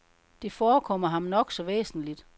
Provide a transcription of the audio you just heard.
Det forekommer ham nok så væsentlig.